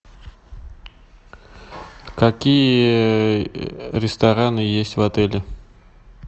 какие рестораны есть в отеле